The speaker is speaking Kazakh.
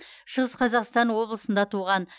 шығыс қазақстан облысында туған